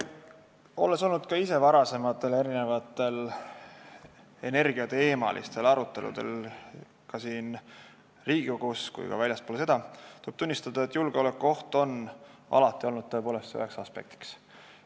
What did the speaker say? Olles osalenud ka ise varasematel energeetikateemalistel aruteludel nii siin Riigikogus kui ka väljaspool seda, tuleb tunnistada, et julgeolekuoht on tõepoolest alati olnud üheks aspektiks.